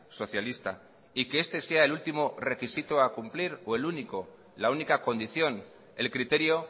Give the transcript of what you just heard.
socialista y que este sea el último requisito a cumplir o el único la única condición el criterio